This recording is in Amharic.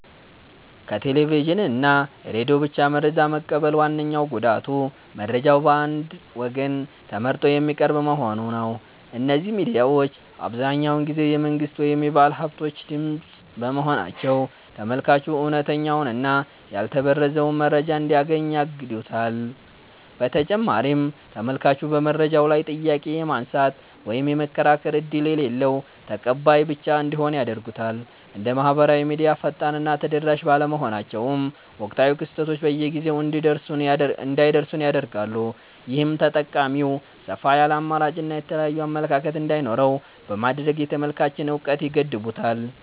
ከቴሌቪዥን እና ሬዲዮ ብቻ መረጃ መቀበል ዋነኛው ጉዳቱ መረጃው በአንድ ወገን ተመርጦ የሚቀርብ መሆኑ ነው። እነዚህ ሚዲያዎች አብዛኛውን ጊዜ የመንግሥት ወይም የባለሃብቶች ድምፅ በመሆናቸው፤ ተመልካቹ እውነተኛውንና ያልተበረዘውን መረጃ እንዳያገኝ ያግዱታል። በተጨማሪም ተመልካቹ በመረጃው ላይ ጥያቄ የማንሳት ወይም የመከራከር ዕድል የሌለው ተቀባይ ብቻ እንዲሆን ያደርጉታል። እንደ ማኅበራዊ ሚዲያ ፈጣንና ተደራሽ ባለመሆናቸውም፣ ወቅታዊ ክስተቶች በጊዜው እንዳይደርሱን ያደርጋሉ። ይህም ተጠቃሚው ሰፋ ያለ አማራጭና የተለያየ አመለካከት እንዳይኖረው በማድረግ የተመልካችን እውቀት ይገድቡታል።